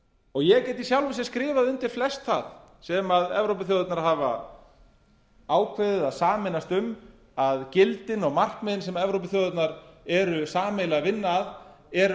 ég get í sjálfu sér skrifað undir flest það sem evrópuþjóðirnar hafa ákveðið að sameinast um að gildin og markmiðin sem evrópuþjóðirnar eru sameiginlega að vinna að er